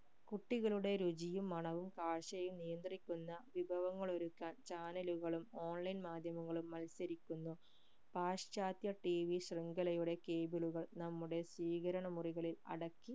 കുട്ടികളുടെ രുചിയും മണവും കാഴ്ചയും നിയന്ത്രിക്കുന്ന വിഭവങ്ങൾ ഒരുക്കാൻ channel കളും online മാധ്യമങ്ങളും മത്സരിക്കുന്നു പാശ്ചാത്യ tv ശൃംഖലയുടെ cable ഉകൾ നമ്മുടെ സ്വീകരണ മുറികളിൽ അടക്കി